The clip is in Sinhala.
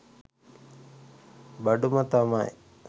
බඩුම තමයි